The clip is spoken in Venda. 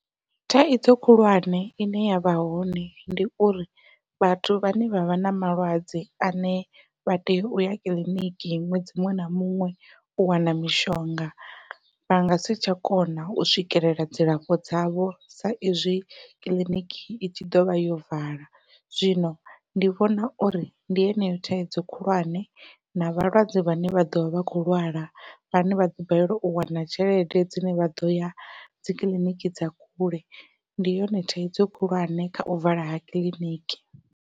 Thaidzo khulwane ine yavha hone ndi uri vhathu vhane vha vha na malwadze ane vha tea uya kiḽiniki ṅwedzi muṅwe na muṅwe u wana mishonga vha nga si tsha kona u swikelela dzilafho dzavho sa izwi kiḽiniki i tshi ḓovha yo vala. Zwino ndi vhona uri ndi yeneyo thaidzo khulwane na vhalwadze vhane vha ḓovha vha kho lwala vhane vhaḓo balelwa u wana tshelede dzine vha ḓoya dzi kiḽiniki dza kule ndi yone thaidzo khulwane kha u vala ha kiḽiniki.